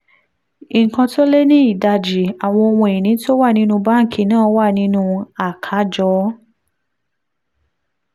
nǹkan tó lé ní ìdajì àwọn ohun ìní tó wà nínú báńkì náà wà nínú àkájọ